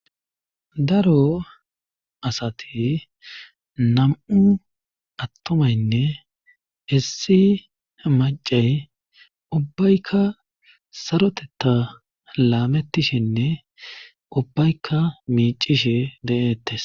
daro asati nam'u attomaynne issi macay ubbaykka saroteta laametishinne ubbayka miicishe de'eettes